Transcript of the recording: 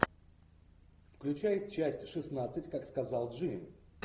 включай часть шестнадцать как сказал джим